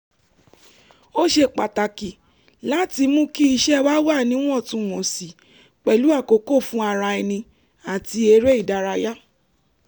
ó ṣe pàtàkì láti mú kí iṣẹ́ wà níwọ̀ntúnwọ̀nsì pẹ̀lú àkókò fún ara ẹni àti eré ìdárayá